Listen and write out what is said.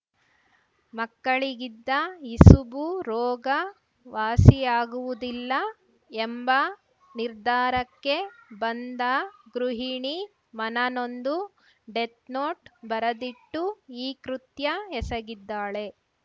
ಮಕ್ಕಳಿಗಿದ್ದ ಇಸುಬು ರೋಗ ವಾಸಿಯಾಗುವುದಿಲ್ಲ ಎಂಬ ನಿರ್ಧಾರಕ್ಕೆ ಬಂದ ಗೃಹಿಣಿ ಮನನೊಂದು ಡೆತ್‌ನೋಟ್‌ ಬರೆದಿಟ್ಟು ಈ ಕೃತ್ಯ ಎಸಗಿದ್ದಾಳೆ